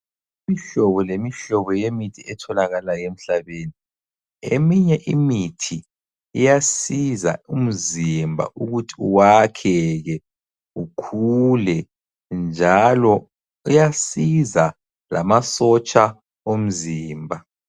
Imihlobo lemihlobo yemithi etholakala emhlabeni, eminye imithi iyasiza umzimba ukuthi uwakheke ukhule njalo uyasiza lamasotsha omzimba.